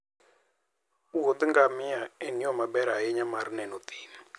Wuoth gamia en yo maber ahinya mar neno thim.